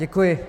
Děkuji.